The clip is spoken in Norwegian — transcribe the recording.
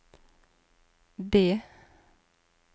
D